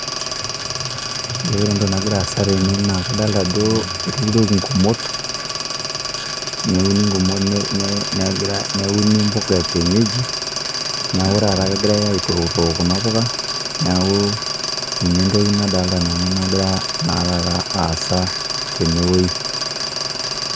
Ore entoki nagira aasa tene adolita ajo etuturoki igumot, neuni imbuka ekienyeji neeku taata kegirai atookitook kuna puka, neeku ninye entoki nadoolta nanu egira naa taata aasa tene oji.